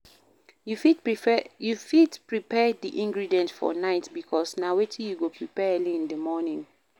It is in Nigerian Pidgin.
You fit prepare di ingredients for night because na wetin you go prepare early in di morning